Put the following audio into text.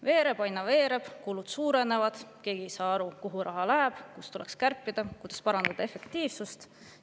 Veereb, aina veereb, kulud suurenevad, keegi ei saa aru, kuhu raha läheb, kust tuleks kärpida, kuidas parandada efektiivsust.